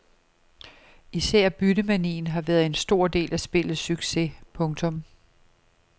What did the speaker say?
Især byttemanien har været en stor del af spillets succes. punktum